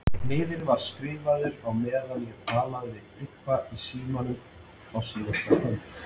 Miðinn var skrifaður á meðan ég talaði við Tryggva í síma á síðkvöldi.